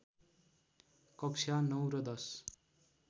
कक्षा ९ र १०